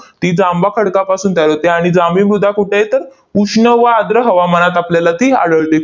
ती जांभा खडकापासून तयार होते आणि जांभी मृदा कुठे आहे? तर उष्ण व आर्द्र हवामानात आपल्याला ती आढळते.